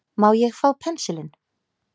Má ég fá pensilinn.